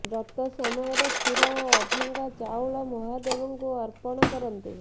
ବ୍ରତ ସମୟରେ କ୍ଷୀର ଓ ଅଭଙ୍ଗା ଚାଉଳ ମହାଦେବଙ୍କୁ ଅର୍ପଣ କରନ୍ତୁ